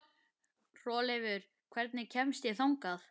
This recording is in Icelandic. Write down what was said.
Hrolleifur, hvernig kemst ég þangað?